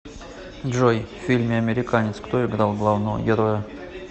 джой в фильме американец кто играл главного героя